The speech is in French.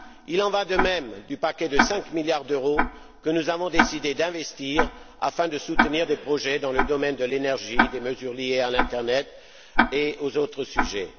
Il en va de même du paquet de 5 milliards d'euros que nous avons décidé d'investir afin de soutenir des projets dans le domaine de l'énergie, des mesures liées à l'Internet et aux autres sujets.